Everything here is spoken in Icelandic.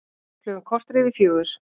Klukkan korter yfir fjögur